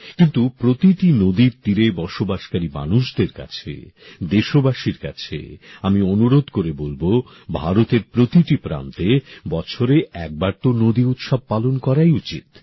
কিন্তু প্রতিটি নদীর তীরে বসবাসকারী মানুষদের কাছে দেশবাসীর কাছে আমি অনুরোধ করে বলব ভারতের প্রতিটি প্রান্তে বছরে একবার তো নদী উৎসব পালন করাই উচিত